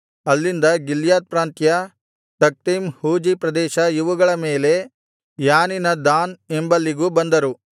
ಅಲ್ಲಿಂದ ಗಿಲ್ಯಾದ್ ಪ್ರಾಂತ್ಯ ತಖ್ತೀಮ್ ಹೂಜೀ ಪ್ರದೇಶ ಇವುಗಳ ಮೇಲೆ ಯಾನಿನ ದಾನ್ ಎಂಬಲ್ಲಿಗೂ ಬಂದರು